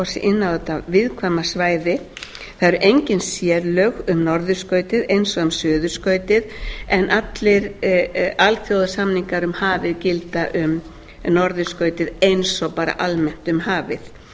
þetta viðkvæma svæði það eru engin sérlög um norðurskautið eins og um suðurskautið en allir alþjóðasamningar um hafið gilda um norðurskautið eins og bara almennt um hafið það